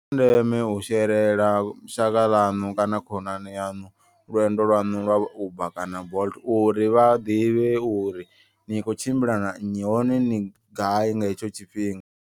Ndeme u sherela shaka ḽaṋu kana khonani yaṋu lwendo lwaṋu lwa uber kana bolt. Uri vha ḓivhe uri ni kho tshimbila na nnyi hone ni gai nga hetsho tshifhinga.